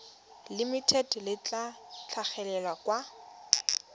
limited le tla tlhagelela kwa